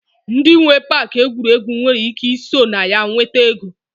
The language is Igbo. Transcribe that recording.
Ndi nwee Pááki egwuregwu nwere ike ị so na ya nweta ego